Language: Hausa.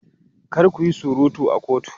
Kar ku yi surutu a kotu!